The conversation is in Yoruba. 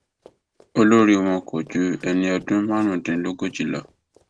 olórí wọn kò ju ẹni ọdún márùndínlógójì lọ